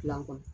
Dilan kɔni